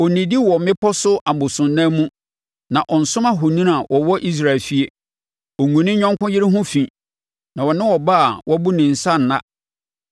ɔnnidi wɔ mmepɔ so abosonnan mu na ɔnsom ahoni a wɔwɔ Israel efie. Ɔngu ne yɔnko yere ho fi na ɔne ɔbaa a wabu ne nsa nna.